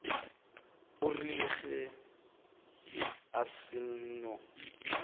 e rile ge a seno